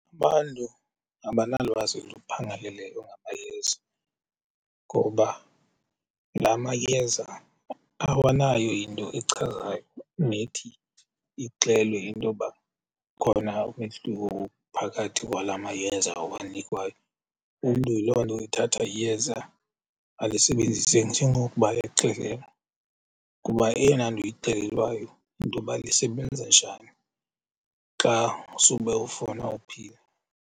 Abantu abanalwazi luphangaleleyo ngamayeza ngoba laa mayeza awanayo into echazayo nethi ixelwe intoba ukhona umehluko phakathi kwalaa mayeza awanikwayo. Umntu yiloo nto ethatha iyeza alisebenzise njengokuba exelelwe, kuba eyona nto uyixelelwayo yintoba lisebenza njani xa sube ufuna uphila.